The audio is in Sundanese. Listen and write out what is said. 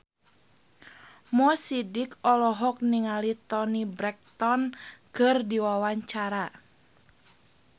Mo Sidik olohok ningali Toni Brexton keur diwawancara